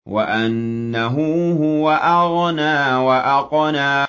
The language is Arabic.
وَأَنَّهُ هُوَ أَغْنَىٰ وَأَقْنَىٰ